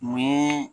Mun ye